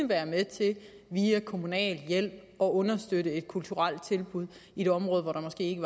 være med til via kommunal hjælp at understøtte et kulturelt tilbud i et område hvor der måske ikke